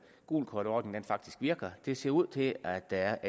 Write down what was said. gult kort ordning faktisk virker det ser ud til at der er